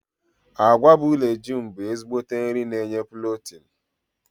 Agwa bụ leguumu bụ ezigbo nri na enye pulotinu.